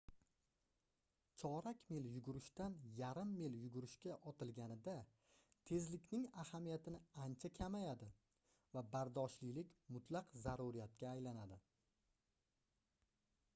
chorak mil yugurishdan yarim mil yugurishga otilganida tezlikning ahamiyatini ancha kamayadi va bardoshlilik mutlaq zaruriyatga aylanadi